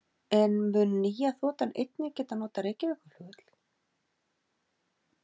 En mun nýja þotan einnig geta notað Reykjavíkurflugvöll?